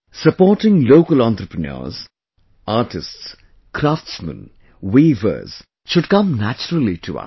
Supporting local entrepreneurs, artists, craftsmen, weavers should come naturally to us